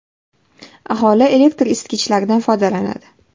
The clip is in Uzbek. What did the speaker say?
Aholi elektr isitgichlardan foydalanadi.